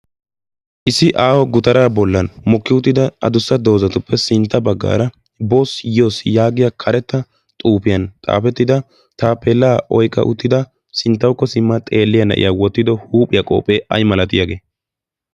Issi aaho gutara bollan mokki uttido mokki uttida addussa doozatu sintta baggara boss yoss yaagiyaa karetta xuufiyaa xaafettida taappeelaoyqqida nayiyyaa huuphiyaan wottido qophe aymalatiyaage?